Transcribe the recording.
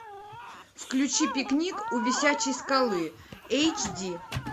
включи пикник у висячей скалы эйч ди